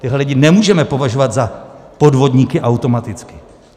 Tyhle lidi nemůžeme považovat za podvodníky automaticky.